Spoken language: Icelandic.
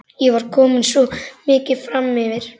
Ég var komin svo mikið framyfir.